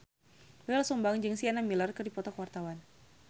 Doel Sumbang jeung Sienna Miller keur dipoto ku wartawan